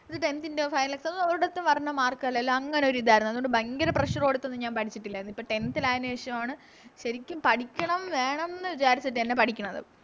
ഒര് Tenth ൻറെ ഒരിടത്തും വരണ Mark അല്ലല്ലോ അങ്ങനൊരിതാരുന്നു അതോണ്ട് ഭയങ്കര Pressure കൊടുത്തൊന്നും ഞാൻ പഠിച്ചിട്ടില്ലാരുന്നു ഇപ്പൊ Tenth ആയെന് ശേഷാണ് ശെരിക്കും പഠിക്കണം വേണംന്ന് വിചാരിച്ചിട്ടെനെ പഠിക്കണത്